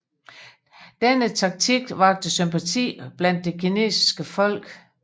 Denne taktik vakte sympati blandt det kinesiske folk